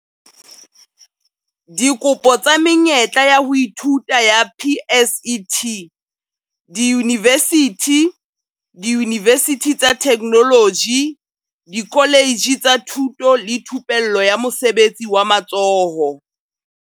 Dikopo tsa menyetla ya ho ithuta ya PSET diyunivesithi, diyunivesithi tsa Theknoloji, dikoletje tsa Thuto le Thupello ya Mosebetsi wa Matsoho.